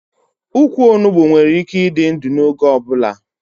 Ukwu Onugbu nwere ike ịdị ndụ n'oge ọ bụla